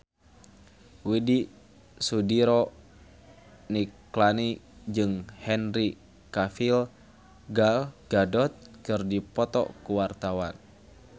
Widy Soediro Nichlany jeung Henry Cavill Gal Gadot keur dipoto ku wartawan